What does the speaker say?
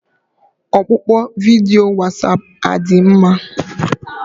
Ọkpụkpọ vidiyo Wasapụ adị mma?